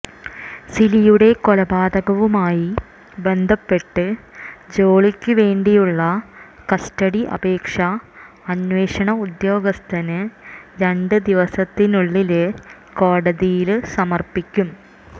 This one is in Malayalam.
സിലിയുടെ കൊലപാതകവുമായി ബന്ധപ്പെട്ട് ജോളിക്കുവേണ്ടിയുള്ള കസ്റ്റഡി അപേക്ഷ അന്വേഷണ ഉദ്യോഗസ്ഥന് രണ്ടുദിവസത്തിനുള്ളില് കോടതിയില് സമര്പ്പിക്കും